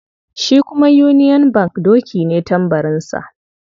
Shi kuma union bank doki ne tambarinsa.